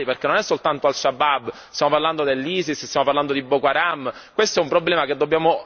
Questo è un problema che dobbiamo affrontare con molta intelligenza perché riguarda la persecuzione di tantissime minoranze.